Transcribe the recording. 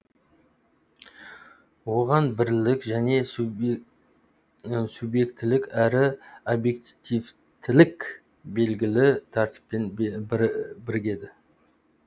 оған бірлік және субъектілік әрі объективтілік белгілі тәртіппен бірігеді